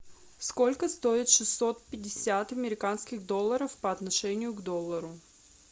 сколько стоит шестьсот пятьдесят американских долларов по отношению к доллару